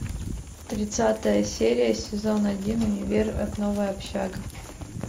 тридцатая серия сезон один универ новая общага